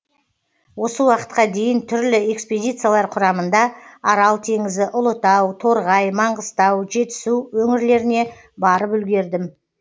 осы уақытқа дейін түрлі экспедициялар құрамында арал теңізі ұлытау торғай маңғыстау жетісу өңірлеріне барып үлгердім